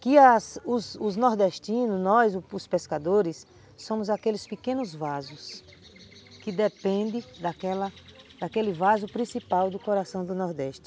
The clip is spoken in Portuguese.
E às, os os nordestinos, nós, os pescadores, somos aqueles pequenos vasos que dependem daquela, daquele vaso principal do coração do Nordeste.